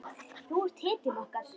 Þú ert hetjan okkar.